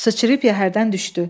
Sıçrayıb yəhərdən düşdü.